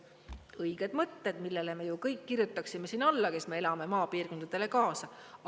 Õiged mõtted, millele me ju kõik kirjutaksime alla, kes me elame maapiirkondadele kaasa.